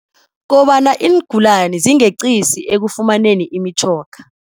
Kobana iingulani zingeqisi ekufumaneni imitjhoga.